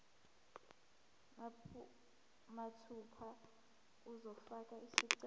mathupha uzofaka isicelo